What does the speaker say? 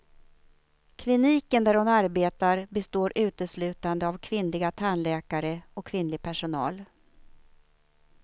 Kliniken där hon arbetar består uteslutande av kvinnliga tandläkare och kvinnlig personal.